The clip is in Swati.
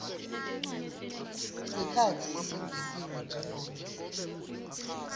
sikhatsi lesengetiwe njengobe